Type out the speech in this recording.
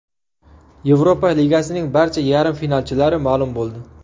Yevropa Ligasining barcha yarim finalchilari ma’lum bo‘ldi.